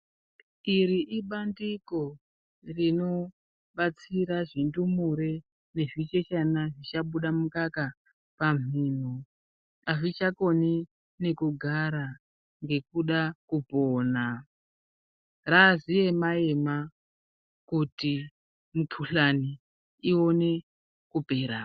Iri ibandiko rinobatsira zvindumure nezvichechana zvichabuda ,azvichakoni nekugara ngekuda kupona .Raaziema ema kuti mikuhlani ikone kupera .